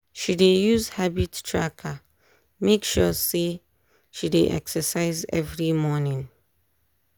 she dey use habit tracker make sure say she dey exercise every morning.